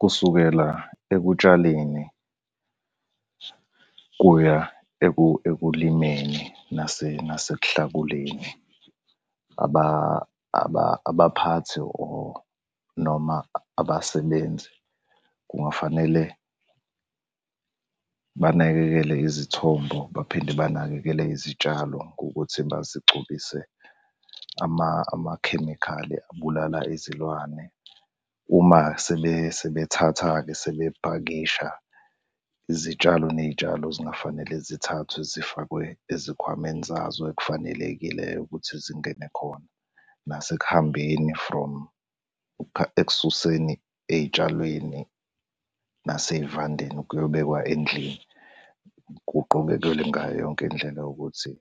Kusukela ekutshaleni, kuya ekulimeni nasekuhlakuleni, abaphathi or noma abasebenzi kungafanele banakekele izithombo baphinde banakekele izitshalo ngokuthi bazigcobise amakhemikhali abulala izilwane. Uma sebethatha-ke sebepakisha, izitshalo ney'tshalo singafanele zithathwe zifakwe ezikhwameni zazo ekufanelekileyo ukuthi zingene khona. Nasekuhambeni from ekususeni ey'tshalweni nasey'vandeni kuyobekwa endlini, kuqukelelwe ngayo yonke indlela yokuthi,